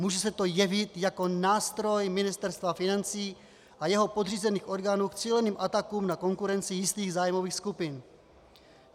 Může se to jevit jako nástroj Ministerstva financí a jeho podřízených orgánů k cíleným atakům na konkurenci jistých zájmových skupin.